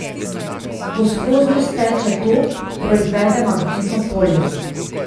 Ko skoznjo steče tok, proizvede magnetno polje.